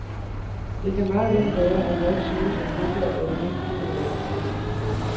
Det kan meget vel være, at jeg ikke synes, at fodbold er det vigtigste i verden.